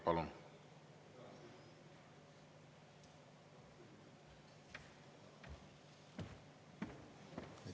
Palun!